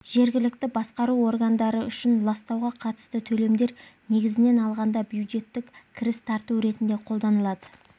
жергілікті басқару органдары үшін ластауға қатысты төлемдер негізінен алғанда бюджеттік кіріс тарту ретінде қолданылады